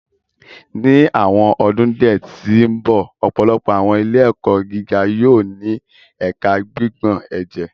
Ni awọn ọdun diẹ ti n bọ, ọpọlọpọ awọn ile-ẹkọ giga yóò ni Ẹka Gbigbọn Ẹjẹ